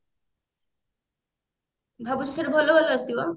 ଭାବିଛୁ ସେଠି ଭଲ ଭଲ ଆସିବ